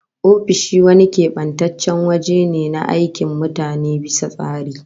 Ofishi wani kebantaccen waje ne na aikin mutane bisa tsari